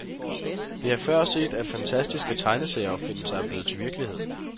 Det er før set, at fantastiske tegneserieopfindelser er blevet til virkelighed.